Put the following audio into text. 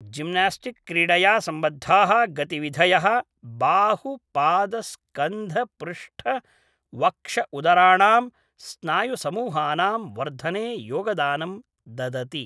Gymnastic क्रीडया सम्बद्धाः गतिविधयः बाहुपादस्कन्धपृष्ठवक्षउदराणां स्नायुसमूहानां वर्धने योगदानं ददति।